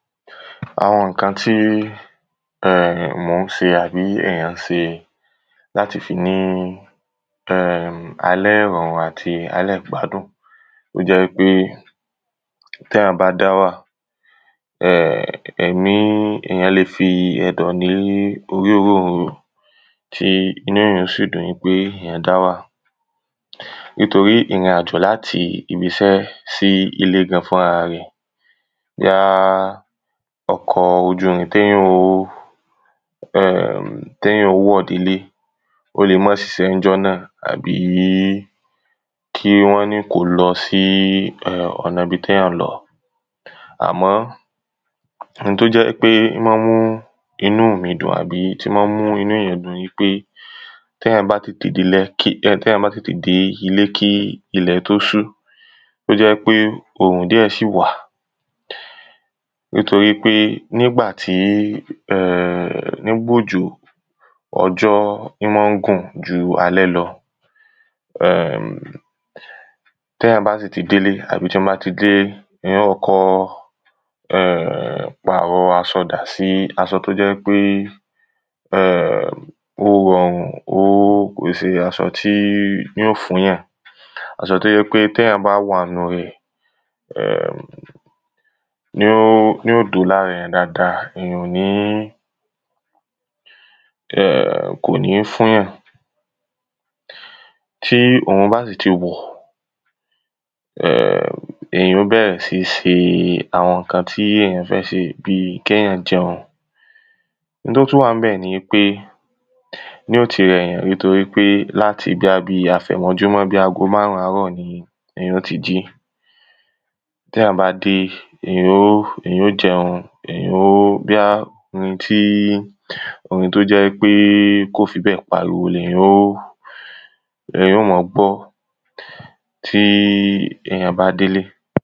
Àwọn ǹkan tí um mò ń ṣe àbí ènìyàn n ṣe, láti fi ní um alẹ́ ìrọ̀rùn àti alẹ́ ìgbádùn, tó jẹ́ wípé t’éyàn bá dáwà um ẹ̀mí èyán le fi ẹ̀dọ̀ lé orí òrónrò, tí inú èyàn ó sì dùn wípé èyàn dáwà. Nítorí ìrìn-àjò láti ibisẹ́ sí ilé gan fún ara rẹ̀, bóyá ọkọ̀ ojú omi tí èyàn ó um, tí èyàn ó wọ̀ délé, ó le má ṣiṣẹ́ ní jọ́ nà, àbí kí wọ́n ní kò lọ sí um ọ̀nà ibití èyàn ń lọ, à mọ́, n tó jẹ́ wípé ó ma ń mú inú mi dùn àbí tí ó má ń mú inú èyàn dùn ni pé téyàn bá tètè dé ilé kí ilẹ̀ tó ṣú, tó jẹ́ wípé òrùn díẹ̀ sí wà, nítorí pé nígbà tí um nígbà òjò, ọjọ́ íma ń gùn ju alẹ́ lọ um téyàn bá sì ti délé àbí tí mo bá ti délé, èyàn ó kọ́kọ́ um pàrọ aṣọ dà sí, aṣọ tó jẹ́ wípé um ó rọrùn, ó, kò kín ṣe aṣọ tí yó fún yàn, aṣọ tó jẹ́ wípé t’éyàn bá wà nínu rẹ̀ um yó dúró lára èyàn dada, èyàn ò ní um kónì fún yàn, tí yàn bá sì ti wòó, um èyàn ó bẹ̀rè sí ní ṣe àwọn ǹkan tí èyán fẹ́ se, bíi kẹ́yàn jẹun. oun tó tún wà ní bẹ̀ ni pé, yó ti rẹ̀yàn nítorí pé láti bóyá bi àfẹ̀mọ́júmọ́ bóyá bi ago márùn àárọ̀ ni èyàn ó ti jí, téyàn bá dé, èyàn ó jẹun, èyàn ó, bóyá orin tí, orin tó jẹ́ wípé kò fi bẹ́ẹ̀ pariwo, lèyàn ó ma gbọ́, tí èyàn bá délé.